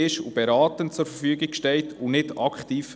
sie steht beratend zur Verfügung und versorgt nicht aktiv.